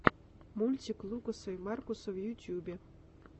мультик лукаса и маркуса в ютубе